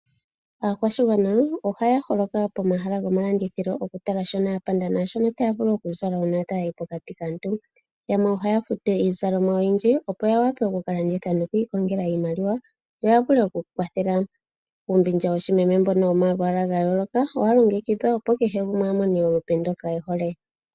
Aakwashigwana ohaya holoka pomahala gomalandithilo okutala shono ya panda naashono taya vulu okuzala uuna taya yi pokati kaantu. Yamwe ohaya futu iinima oyindji opo ya wape oku ka landitha nokwiikongela iimaliwa yo ya vule okwiikwathela. Uumbindja mbono woshimeme womalwala ga yooloka owa longekidhwa opo kehe gumwe amone olupe ndoka ehole.